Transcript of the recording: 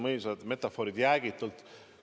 Võimsad metafoorid: jäägitult.